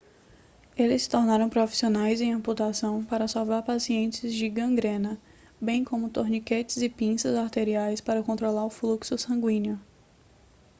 eles se tornaram profissionais em amputação para salvar pacientes de gangrena bem como torniquetes e pinças arteriais para controlar o fluxo sanguíneo